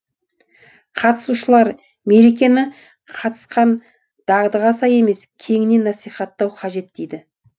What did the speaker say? қатысушылар мерекені қалыптасқан дағдыға сай емес кеңінен насихаттау қажет дейді